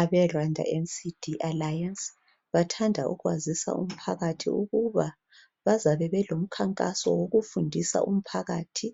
Abe Rwanda NCD alliance bathanda ukwazisa umphakathi ukuba bazabe belomkhankaso wokufundisa umphakathi